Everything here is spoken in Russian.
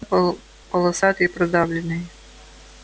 ээ полосатый продавленный